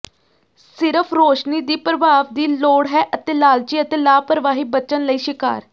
ਸਿਰਫ਼ ਰੌਸ਼ਨੀ ਦੀ ਪ੍ਰਭਾਵ ਦੀ ਲੋੜ ਹੈ ਅਤੇ ਲਾਲਚੀ ਅਤੇ ਲਾਪਰਵਾਹੀ ਬਚਣ ਲਈ ਸ਼ਿਕਾਰ